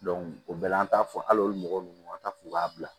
o bɛɛ la an t'a fɔ hali mɔgɔ minnu an t'a fɔ u k'a bila